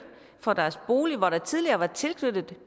fra deres bolig hvor der tidligere var tilknyttet